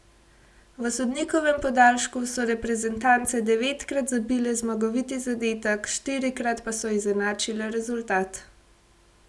V sodnikovem podaljšku so reprezentance devetkrat zabile zmagoviti zadetek, štirikrat pa so izenačile rezultat.